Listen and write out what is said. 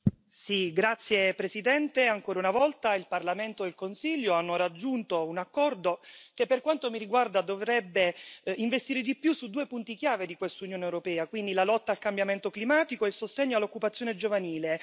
Signor Presidente, onorevoli colleghi, ancora una volta il Parlamento e il Consiglio hanno raggiunto un accordo che, per quanto mi riguarda, dovrebbe investire di più su due punti chiave di quest'Unione europea, vale a dire la lotta al cambiamento climatico e il sostegno all'occupazione giovanile.